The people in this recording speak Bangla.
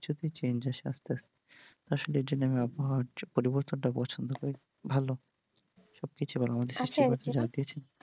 change আসে আস্তে আস্তে। আসলে এইজন্য আমি আবহাওয়ার পরিবর্তনটা পছন্দ করি ভালো